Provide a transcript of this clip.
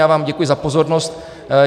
Já vám děkuji za pozornost.